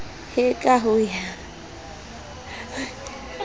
he ka ho ya ka